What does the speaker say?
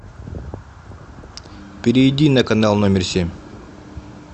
перейди на канал номер семь